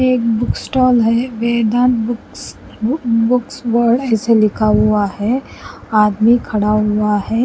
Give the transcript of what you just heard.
एक book stall है Veda Books बू बुक्स वर्ल्ड ऐसे लिखा हुआ है आदमी खड़ा हुआ है।